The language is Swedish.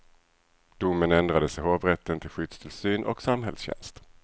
Domen ändrades i hovrätten till skyddstillsyn och samhällstjänst.